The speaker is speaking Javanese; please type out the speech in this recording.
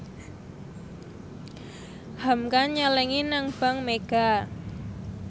hamka nyelengi nang bank mega